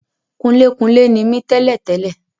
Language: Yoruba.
Kunlékunlé ni mí tẹ́lẹ̀ tẹ́lẹ̀